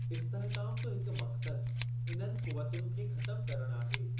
इस्तिहकाम जो हिक मक़्सदु इन्हनि क़ुवतुनि खे ख़तमु करणु आहे।